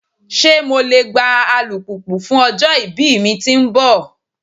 Ṣe MO le gba alupupu fun ọjọ-ibi mi ti nbọ?